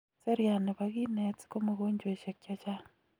seriat nebo kinet komogonjweshek chechang